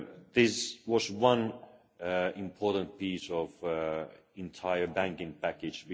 This was one important piece of the entire banking package.